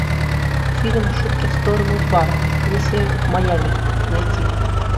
фильм шутки в сторону два миссия в майями найти